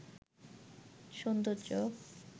সুন্দর চোখ